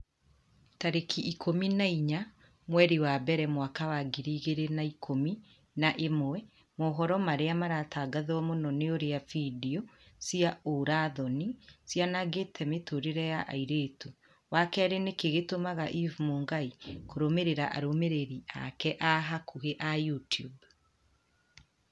tarĩki ikũmi na inya mweri wa mbere mwaka wa ngiri igĩrĩ na ikũmi na ĩmwe mohoro marĩa maratangatwo mũno ni ũrĩa findio cia ũũra-thoni cianangĩte mĩtũrĩre ya airĩtu wa kerĩ nĩkĩĩ gĩtũmaga eve mũngai kũrũmĩrĩra arũmĩrĩri ake a hakuhi a YouTUBE